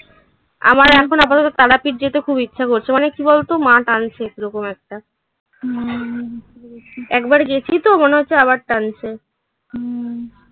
আমার এখন আপাতত তারাপীঠ যেতে খুব ইচ্ছা করছে. মানে কি বলতো? মা টানছে এরকম একটা. হুম. একবার গেছি তো? মনে হচ্ছে আবার টানছে. হুম